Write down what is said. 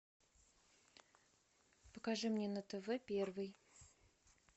покажи мне на тв первый